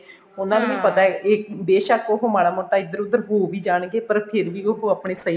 ਉਹਨਾ ਨੂੰ ਵੀ ਪਤਾ ਬੇਸ਼ਕ ਉਹ ਮਾੜਾ ਮੋਟਾ ਇਧਰ ਉਧਰ ਹੋ ਵੀ ਜਾਣਗੇ ਪਰ ਫੇਰ ਵੀ ਉਹ ਆਪਨੇ ਸਹੀ